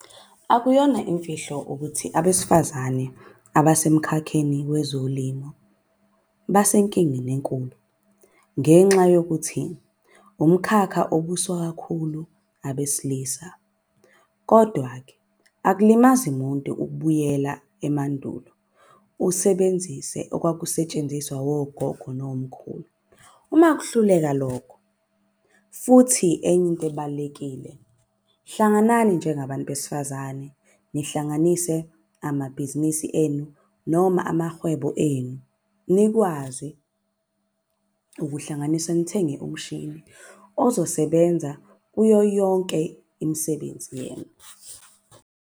Akuyona imfihlo ukuthi abesifazane abasemkhakheni wezolimo basenkingeni enkulu. Ngenxa yokuthi umkhakha obuswa kakhulu abesilisa. Kodwa-ke akulimazi muntu ukubuyela emandulo usebenzise okwakusetshenziswa wogogo nomkhulu. Uma kuhluleka lokho futhi enye into ebalulekile hlanganani njengabantu besifazane. Nihlanganise amabhizinisi enu noma amahwebo enu. Nikwazi ukuhlanganisa nithenge umshini ozosebenza kuyo yonke imisebenzi yenu.